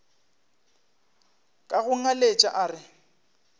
ka go ngaletša a re